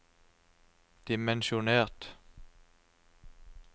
dimensjonert